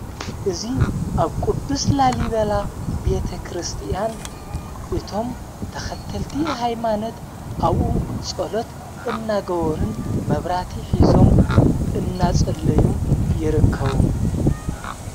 እዙ ኣብ ቅዱስ ላሊበላ ቤተ ክርስቲያን እቶም ተኸተልቲ ኃይማነት ኣብኡ ጸሎት እናገበሩን መብራቲ ሒዞም እናጸለዩን ይርከቡ።